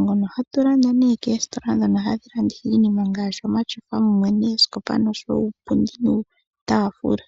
ngono hatu landeni koositola ndhono hadhi landitha iinima ngashi omatyofa, mumwe noosikopa noshowo uupundi mumwe nuutafula.